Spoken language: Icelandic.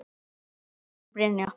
Albert og Brynja.